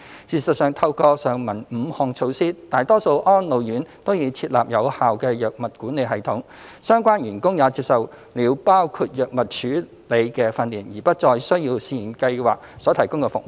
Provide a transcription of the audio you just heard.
事實上，透過上文5項措施，大多數安老院都已設立有效的藥物管理系統，相關員工也接受了包括藥物處理的訓練，而不再需要試驗計劃所提供的服務。